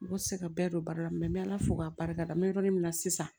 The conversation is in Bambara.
Mɔgɔ tɛ se ka bɛɛ don ba la n bɛ ala fo k'a barikada n bɛ yɔrɔ min na sisan